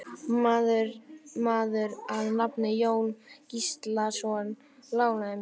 Maður að nafni Jón Gíslason lánaði mér.